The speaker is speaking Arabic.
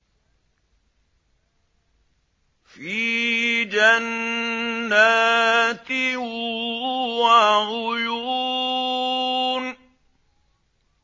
فِي جَنَّاتٍ وَعُيُونٍ